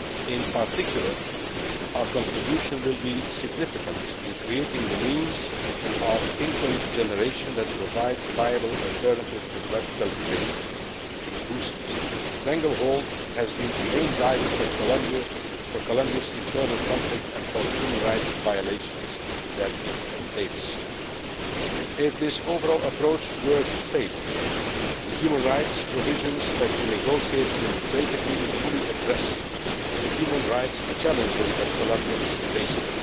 In particular our contribution will be significant in creating the means of income generation that provide viable alternatives to drug cultivation whose stranglehold has been a main driver for Colombia's internal conflict and for the human rights violations that it entails. If this overall approach were to fail, the human rights provisions that we negotiated in the trade agreement fully address the human rights challenges that Colombia is facing.